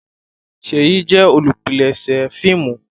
Sheyi jé olùpilèsè fíìmù.